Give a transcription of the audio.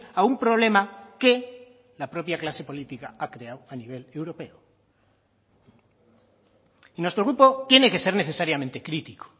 a un problema que la propia clase política ha creado a nivel europeo y nuestro grupo tiene que ser necesariamente crítico